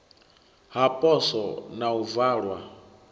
ha poswo na u valwa